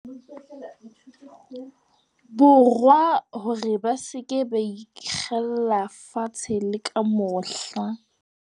Borwa hore ba se ke ba ikgella fatshe le ka mohla.